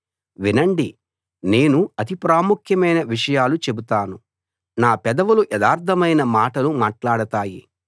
వినండి నేను అతి ప్రాముఖ్యమైన విషయాలు చెబుతాను నా పెదవులు యథార్థమైన మాటలు మాట్లాడతాయి